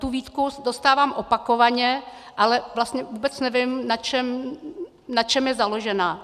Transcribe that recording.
Tu výtku dostávám opakovaně, ale vlastně vůbec nevím, na čem je založena.